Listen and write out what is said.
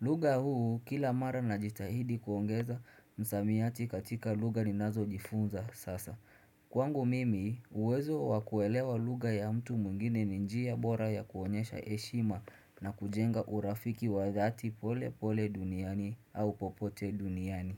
lugha huu kila mara najitahidi kuongeza misamiati katika lugha ninazojifunza sasa. Kwangu mimi uwezo wakuelewa lugha ya mtu mwingine ni njia bora ya kuonyesha heshima na kujenga urafiki wa dhati pole pole duniani au popote duniani.